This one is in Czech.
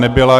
Nebyla.